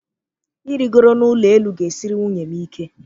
Ịrịgoro n'ụlọ elu ga-esiri nwunye m ike.